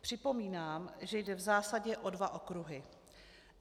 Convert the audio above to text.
Připomínám, že jde v zásadě o dva okruhy.